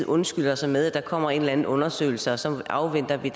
undskylder sig med at der kommer en eller anden undersøgelse og så afventer det